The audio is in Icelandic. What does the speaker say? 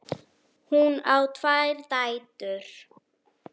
Hún á tvær dætur.